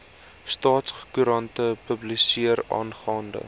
staatskoerant publiseer aangaande